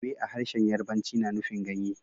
Ewe a harshen Yarbanci na nufin ganye